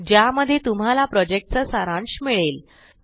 ज्यामध्ये तुम्हाला प्रॉजेक्टचा सारांश मिळेल